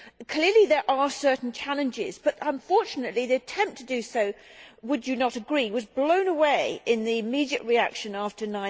Clearly there are certain challenges, but unfortunately the attempt to do so would you not agree was blown away in the immediate reaction after